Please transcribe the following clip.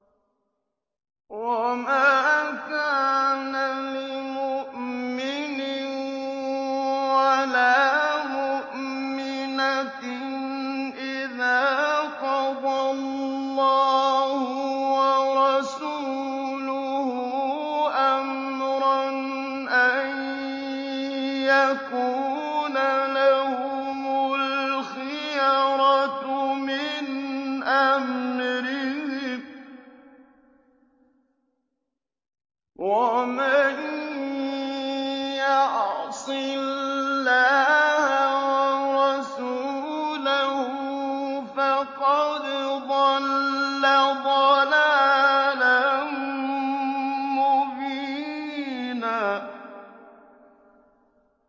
وَمَا كَانَ لِمُؤْمِنٍ وَلَا مُؤْمِنَةٍ إِذَا قَضَى اللَّهُ وَرَسُولُهُ أَمْرًا أَن يَكُونَ لَهُمُ الْخِيَرَةُ مِنْ أَمْرِهِمْ ۗ وَمَن يَعْصِ اللَّهَ وَرَسُولَهُ فَقَدْ ضَلَّ ضَلَالًا مُّبِينًا